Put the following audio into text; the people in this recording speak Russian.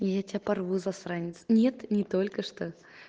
я тебя порву засранец нет не только что